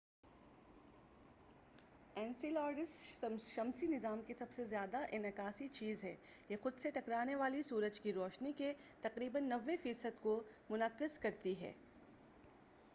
Enceladus شمسی نظام کی سب سے زیادہ انعکاسی چیز ہے یہ خود سے ٹکرانے والی سورج کی روشنی کے تقریبا 90 فیصد کو منعکس کرتی ہے